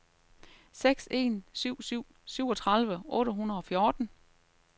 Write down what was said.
seks en syv syv syvogtredive otte hundrede og fjorten